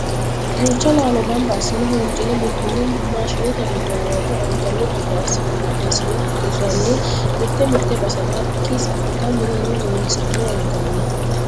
Duucha laalo gamba assine huncine bulbule maashinete giddo wore angani gede assine qixxeessine hiranni mite mite basera hakki sautta mineno loosi'ne anganni.